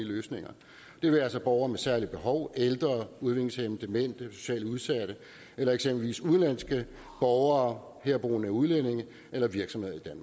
løsninger det være sig borgere med særlige behov ældre udviklingshæmmede demente socialt udsatte eller eksempelvis udenlandske borgere herboende udlændinge eller virksomheder